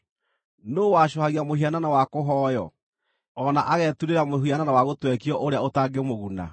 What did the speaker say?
Nũũ wacũhagia mũhianano wa kũhooywo, o na ageturĩra mũhianano wa gũtwekio ũrĩa ũtangĩmũguna?